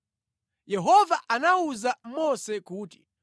Yehova anawuza Mose kuti,